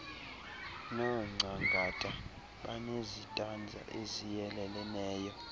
nongcangata banezitanza eziyeleleneyo